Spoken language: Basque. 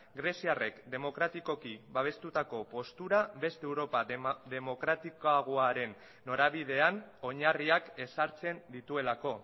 greziarrek demokratikoki babestutako postura beste europa demokratikoaren norabidean oinarriak ezartzen dituelako